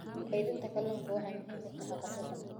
Kaydinta kalluunka waxay muhiim u tahay haqab-beelka cuntada.